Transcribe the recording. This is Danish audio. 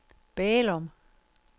Bælum